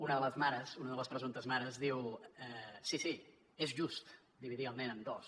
una de les mares una de les presumptes mares diu sí sí és just dividir el nen en dos